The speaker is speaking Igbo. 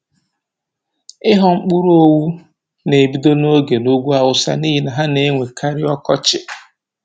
Ị ghọ mkpụrụ owu na-ebido n'oge n'ugwu awụsa n'ihi na ha na-enwe karị ọkọchi.